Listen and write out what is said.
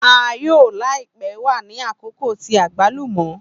A yoo laipe wa ni akoko ti agbalumo.